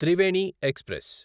Triveni express